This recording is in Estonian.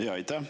Aitäh!